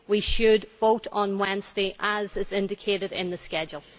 We should vote on Wednesday as is indicated in the schedule.